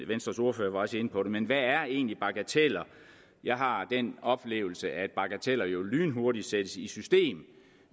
venstres ordfører var også inde på det men hvad er egentlig bagateller jeg har den oplevelse at bagateller jo lynhurtigt sættes i system